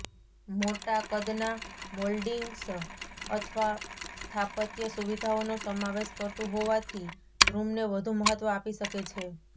મોટા કદના મોલ્ડિંગ્સ અથવા સ્થાપત્ય સુવિધાઓનો સમાવેશ કરતું હોવાથી રૂમને વધુ મહત્વ આપી શકે છે